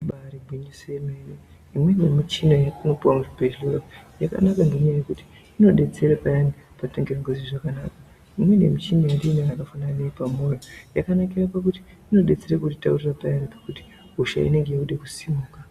Ibari gwinyiso yemene imweni yemichina yetinopuwa muzvibhedhlera yakanaka ngenyaya yekuti inodetsera payana patinenge tisingazwi zvakanaka inenge muchina yatinayo yakafanana neyepamoyo yakanakira pakuti inodetsera kutitaurira payana pekuti hosha inenge yode kusimuka.